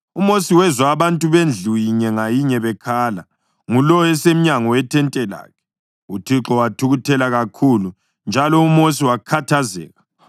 UMosi wezwa abantu bendlu inye ngayinye bekhala, ngulowo esemnyango wethente lakhe. UThixo wathukuthela kakhulu, njalo uMosi wakhathazeka.